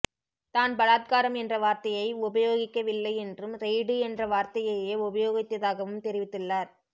தான் பலாத்காரம் என்ற வார்த்தையை உபயோகிக்க வில்லை என்றும் ரெய்டு என்ற வார்த்தையையே உபயோகித்தாகவும் தெரிவித்துள்ளார்